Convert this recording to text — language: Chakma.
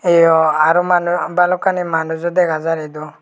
eyo aro manu balokani manuj ow dega jar edu.